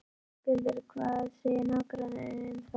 Höskuldur: Hvað segja nágrannarnir um það?